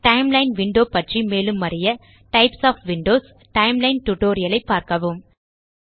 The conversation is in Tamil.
டைம்லைன் விண்டோ பற்றி மேலும் அறிய types of windows timeline tutorial ஐ பார்க்கவும்